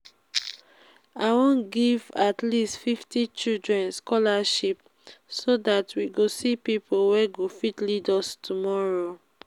i wan give at least fifty children scholarship so dat we go see people wey go fit lead us tomorrow